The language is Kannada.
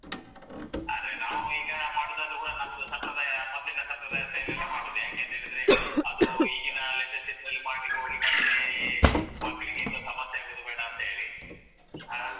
ಆದ್ರೆ ನಾವು ಕೂಡ ಈಗ ಮಾಡುದಾದ್ರು ಕೂಡ ನಮ್ದು ಸಂಪ್ರದಾಯ ಮೊದ್ಲಿನ ಸಂಪ್ರದಾಯದ style ಅಲ್ಲಿ ಮಾಡುದು ಯಾಕಂಹೇಳಿದ್ರೇ ಅದೂ ಈಗಿನ latest ಇದ್ರಲ್ಲಿ ಮಾಡ್ಲಿಕ್ಕೆ ಹೋಗಿ ಮತ್ತೇ ಮಕ್ಕಳಿಗೆ ಇನ್ನು ಸಮಸ್ಯೆ ಆಗುದು ಬೇಡಾಂತ ಹೇಳಿ ಹಾ.